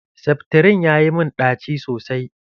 Seftirin ya yi mun ɗaci sosai.